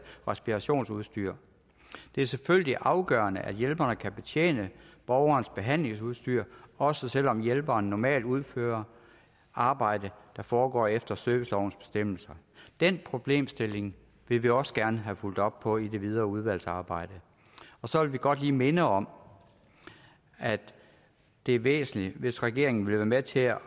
respirationsudstyr det er selvfølgelig afgørende at hjælperne kan betjene borgerens behandlingsudstyr også selv om hjælperne normalt udfører arbejde der foregår efter servicelovens bestemmelser den problemstilling vil vi også gerne have fulgt op på i det videre udvalgsarbejde så vil vi godt lige minde om at det er væsentligt hvis regeringen vil være med til at